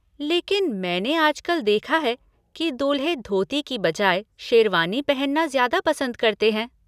लेकिन मैंने आजकल देखा है कि दूल्हे धोती की बजाय शेरवानी पहनना ज्यादा पसंद करते हैं।